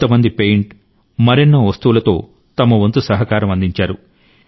కొంతమంది పెయింట్ మరెన్నో వస్తువులతో తమవంతు సహకారం అందించారు